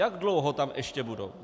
Jak dlouho tam ještě budou?